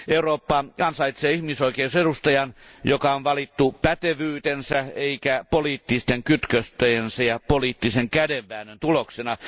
Eurooppa ansaitsee ihmisoikeusedustajan, joka on valittu pätevyytensä eikä poliittisten kytköstensä ja poliittisen kädenväännön tuloksena.